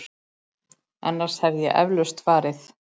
Annars hefði ég eflaust farið.